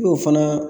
N'o fana